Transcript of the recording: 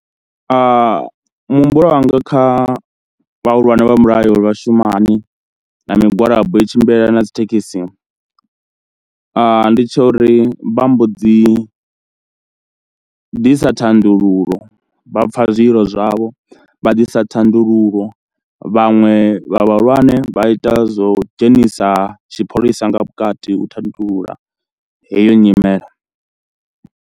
Muhumbulo wanga kha vhahulwane vha mulayo uri vha shuma hani na migwalabo i tshimbilelana na dzi thekhisi, ndi tsha uri vha mbo dzi ḓisa thandululo vha pfha zwililo zwavho, vha ḓisa thandululo vhaṅwe vha vhahulwane vha ita zwo dzhenisa tshipholisa nga vhukati u tandulula heyo nyimele.